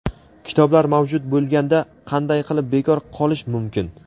kitoblar mavjud bo‘lganda qanday qilib bekor qolish mumkin?.